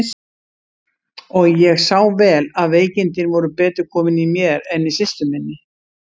Og ég sá vel að veikindin voru betur komin í mér en í systur minni.